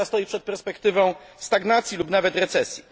Reszta stoi przed perspektywą stagnacji lub nawet recesji.